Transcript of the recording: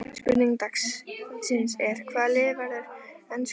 Spurning dagsins er: Hvaða lið verður enskur meistari?